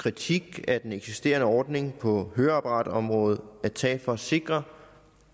kritik af den eksisterende ordning på høreapparatområdet at tage for at sikre